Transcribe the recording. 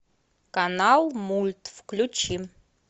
канал мульт включи